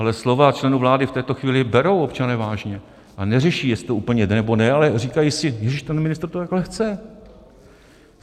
Ale slova členů vlády v této chvíli berou občané vážně a neřeší, jestli to úplně jde, nebo ne, ale říkají si: ježiš, ten ministr to takhle chce.